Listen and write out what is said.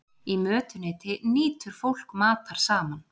Í mötuneyti nýtur fólk matar saman.